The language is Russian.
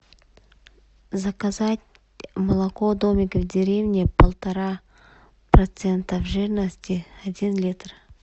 заказать молоко домик в деревне полтора процента жирности один литр